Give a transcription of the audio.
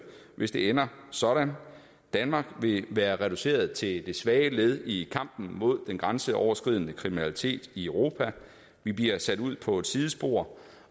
hvis det ender sådan danmark vil være reduceret til det svage led i kampen mod den grænseoverskridende kriminalitet i europa vi bliver sat ud på et sidespor